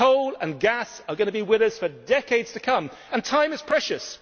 Coal and gas are going to be with us for decades to come, and time is precious.